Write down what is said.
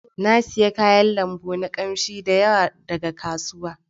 Na sayi kayan lambu na kamshi da yawa daga kasuwa.